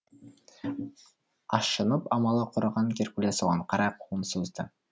ашынып амалы құрыған геркулес оған қарай қолын созды